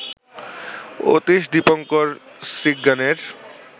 Atish Dipankar শ্রীজ্ঞানের